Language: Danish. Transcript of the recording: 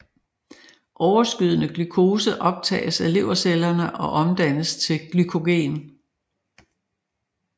Overskydende glukose optages af levercellerne og omdannes til glykogen